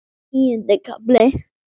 Tíundi kafli